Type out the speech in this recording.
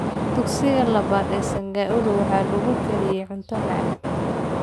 Dugsiga labaad ee Sangailu waxaa lagu kariyey cunto macaan